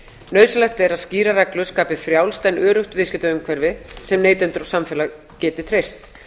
nauðsynlegt er að skýrar reglur skapi frjálst en öruggt viðskiptaumhverfi sem neytendur og samfélag geti treyst